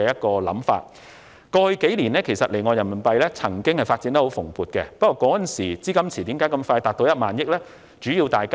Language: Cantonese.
過去數年，離岸人民幣業務曾經發展得十分蓬勃，但為何當時的資金池這麼快便達到1萬億元？